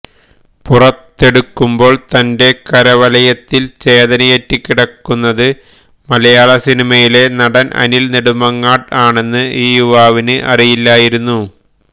പുറത്തെടുക്കുമ്പോള് തന്റെ കരവലയത്തില് ചേതനയറ്റ് കിടക്കുന്നത് മലയാള സിനിമയിലെ നടന് അനില് നെടുമങ്ങാട് ആണെന്ന് ഈ യുവാവിന് അറിയില്ലായിരുന്നു